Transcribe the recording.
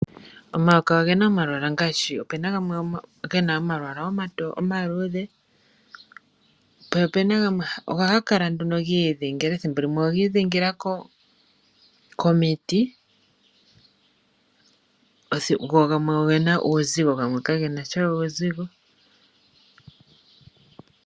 Omayoka ogena omalwaala ngaashi, opuna ngoka gena omalwaala omaluudhe go ohaga kala gi idhingila ethimbo limwe ogi idhingila komiti, go gamwe ogena uuzigo gamwe kagena sha uuzigo.